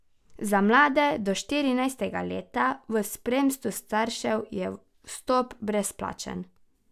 Za mlade do štirinajstega leta v spremstvu staršev je vstop brezplačen.